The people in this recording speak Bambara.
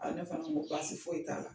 A ne fana ko baasi foyi t'a la.